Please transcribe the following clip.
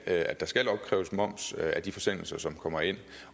at der skal opkræves moms af de forsendelser som kommer ind